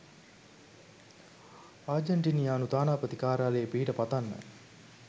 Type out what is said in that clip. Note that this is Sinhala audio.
ආජන්ටිනියානු තානාපති කාර්යාලයේ පිහිට පතන්න